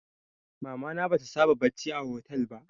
Mama na bata saba bacci a hotel ba